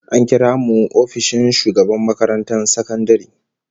An kira mu ofishin shugaban makarantar sakandare